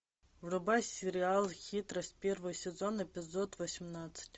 врубай сериал хитрость первый сезон эпизод восемнадцать